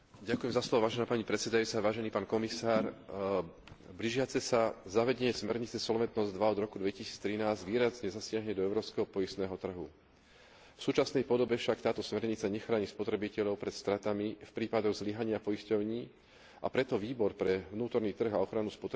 Blížiace sa zavedenie smernice Solventnosť II od roku 2013 výrazne zasiahne do európskeho poistného trhu. V súčasnej podobe však táto smernica nechráni spotrebiteľov pred stratami v prípadoch zlyhania poisťovní, a preto Výbor pre vnútorný trh a ochranu spotrebiteľa odporúča Komisii zosúladiť systém poistných záruk